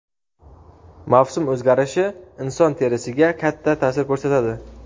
Mavsum o‘zgarishi inson terisiga katta ta’sir ko‘rsatadi.